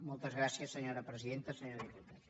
moltes gràcies senyora presidenta i senyor diputat